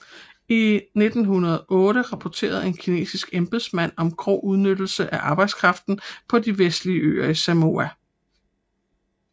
I 1908 rapporterede en kinesisk embedsmand om grov udnyttelse af arbejdskraften på de vestlige øer i Samoa